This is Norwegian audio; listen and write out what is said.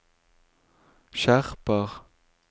skjerper